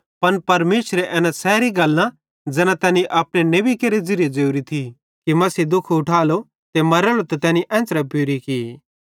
पन परमेशरे एना सैरी गल्लां ज़ैना तैनी अपने नेबी केरे ज़िरीये ज़ोरी थी कि मसीह दुःख ऊठालो ते मरेलो ते तैनी तैना एन्च़रे पूरी की